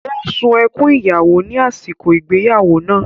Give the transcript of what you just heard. Ó sun ẹkún ìyàwó ní àsìkò ìgbéyàwó náà.